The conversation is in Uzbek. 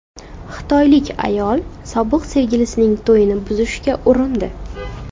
Xitoylik ayol sobiq sevgilisining to‘yini buzishga urindi .